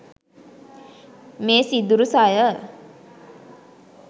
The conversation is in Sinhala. මේ සිදුරු සය